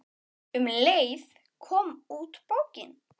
Um leið kom út bókin